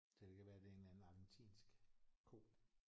Så det kan være det er en eller anden argentinsk ko